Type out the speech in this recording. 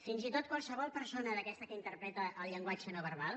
fins i tot qualsevol persona d’aquestes que interpreta el llenguatge no verbal